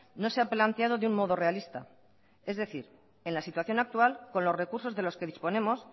no se ha planteado de un modo realista es decir en la situación actual con los recursos de los que disponemos